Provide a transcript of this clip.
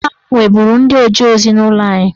Nna m nweburu ndị oje ozi n'ụlọ anyị